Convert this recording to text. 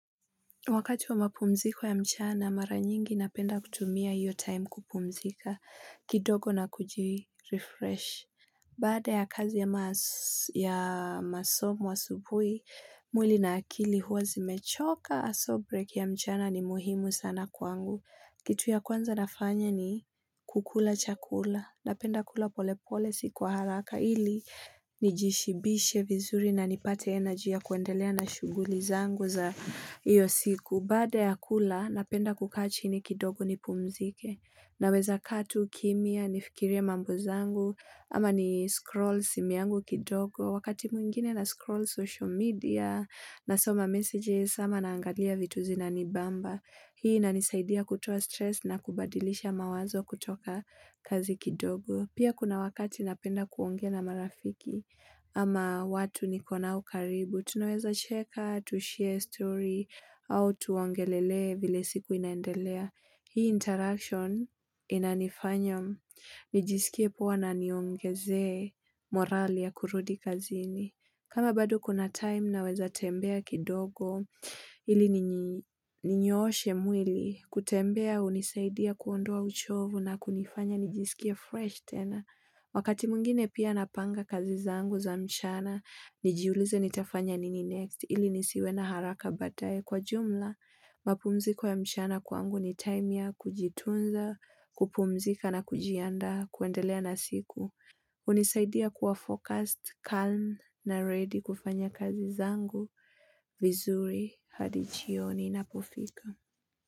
Wakati wa mapumziko ya mchana mara nyingi napenda kutumia iyo time kupumzika kidogo na kujirefresh Baada ya kazi ya masomo asubuhi mwili na akili huwa zimechoka so break ya mchana ni muhimu sana kwangu kitu ya kwanza nafanya ni kukula chakula napenda kula polepole sikuwa haraka ili Nijishibishe vizuri na nipate energy yakuendelea na shughuli zangu za iyo siku Baada ya kula napenda kukachi ni kidogo ni pumzike na weza kaatu kimia nifikiria mambo zangu ama ni scroll simuyangu kidogo Wakati mwingine na scroll social media na soma messages ama naangalia vituzi na nibamba Hii na nisaidia kutoa stress na kubadilisha mawazo kutoka kazi kidogo Pia kuna wakati napenda kuongea na marafiki ama watu nikonao karibu. Tunaweza cheka, tu share story, au tuongelele vile siku inaendelea. Hii interaction inanifanya nijisikie poa na niongeze morali ya kurudi kazini. Kama bado kuna time na weza tembea kidogo ili ninyooshe mwili. Kutembea hunisaidia kuondoa uchovu na kunifanya nijisikie fresh tena. Wakati mwingine pia napanga kazi zangu za mchana, nijiulize nitafanya nini next ili nisiwe na haraka baadaye. Kwa jumla, mapumziko ya mchana kwangu ni time ya kujitunza, kupumzika na kujiandaa kwendelea na siku. Hunisaidia kuwa focused, calm na ready kufanya kazi zangu vizuri hadijioni ina pofika.